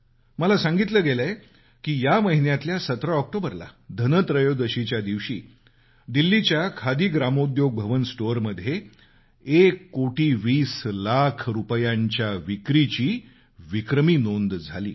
मला सांगितलं गेलंय की या महिन्यातल्या 17 ऑक्टोबरला धनत्रयोदशीच्या दिवशी दिल्लीच्या खादी ग्रामोद्योग भवन स्टोअरमध्ये एक कोटी वीस लाख रुपयांच्या विक्रमी विक्रीची नोंद झाली